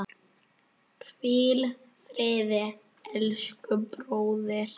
Hvíl friði elsku bróðir.